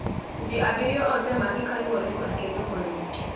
Ji abiriyo osemaki kaluwore kod ketho maruti